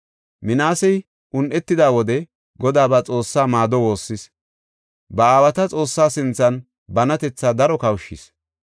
Minaasey un7etida wode Godaa ba Xoossaa maado woossis; ba aawata Xoossaa sinthan banatetha daro kawushis.